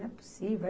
Não é possível.